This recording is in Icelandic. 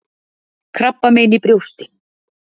KRABBAMEIN Í BRJÓSTI